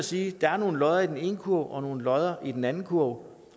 sige at der er nogle lodder i den ene kurv og nogle lodder i den anden kurv